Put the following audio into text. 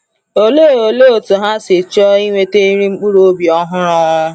Olee Olee otú ha si chọọ inweta nri mkpụrụobi ọhụrụ!